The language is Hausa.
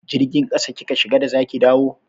Jirgin ƙasa kika shiga da za ki dawo?